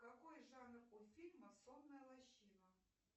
какой жанр у фильма сонная лощина